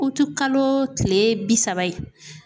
Utikalo tile bi saba ye